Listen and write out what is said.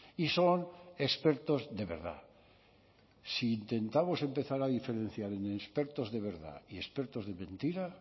y son expertos de verdad si intentamos empezar a diferenciar en expertos de verdad y expertos de mentira